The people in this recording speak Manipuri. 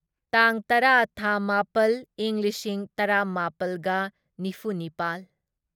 ꯇꯥꯡ ꯇꯔꯥ ꯊꯥ ꯃꯥꯄꯜ ꯢꯪ ꯂꯤꯁꯤꯡ ꯇꯔꯥꯃꯥꯄꯜꯒ ꯅꯤꯐꯨꯅꯤꯄꯥꯜ